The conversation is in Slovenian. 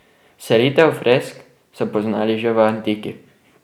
Selitev fresk so poznali že v antiki.